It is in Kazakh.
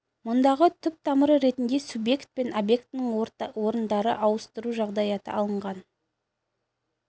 мұндағы түп тамыры ретінде субъект пен объектінің орындарын ауыстыру жағдаяты алынған